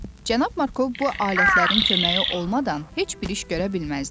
Cənab Markov bu alətlərin köməyi olmadan heç bir iş görə bilməzdi.